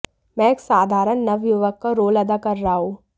मैं एक साधारण नवयुवक का रोल अदा कर रहा हूं